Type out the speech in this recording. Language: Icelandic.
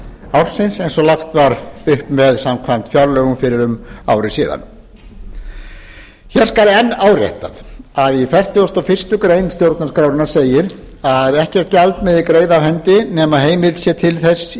ársins eins og lagt var upp með samkvæmt fjárlögum fyrir um ári síðan enn er áréttað að í fertugustu og fyrstu grein stjórnarskrárinnar segir að ekkert gjald megi greiða af hendi nema heimild sé til þess í